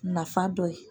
Nafa dɔ ye